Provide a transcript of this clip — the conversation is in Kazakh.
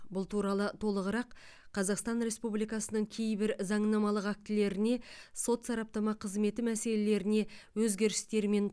бұл туралы толығырақ қазақстан республикасының кейбір заңнамалық актілеріне сот сараптама қызметі мәселелеріне өзгерістер мен